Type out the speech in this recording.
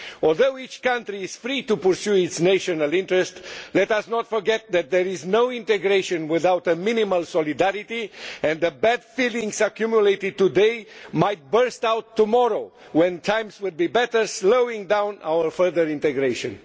Although each country is free to pursue its national interest, let us not forget that there is no integration without a minimal solidarity and that the bad feelings accumulated today might burst out tomorrow when times are better, slowing down our further integration.